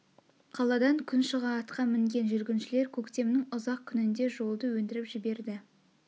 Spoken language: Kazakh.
қаладан күн шыға атқа мінген жүргіншілер көктемнің ұзақ күнінде жолды өндіріп жіберді